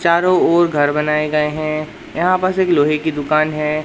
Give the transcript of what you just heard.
चारों ओर घर बनाए गए हैं यहां बस एक लोहे की दुकान है।